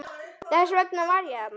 Þess vegna var ég þarna.